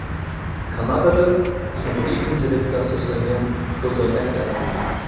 Kanadada sun’iy intellektga ega ko‘zoynak yaratildi.